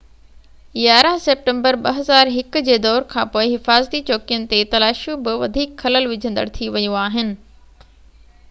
11 September 2001 جي دور کانپوءِ حفاظتي چوڪين تي تلاشيون بہ وڌيڪ خلل وجهندڙ ٿي ويون آهن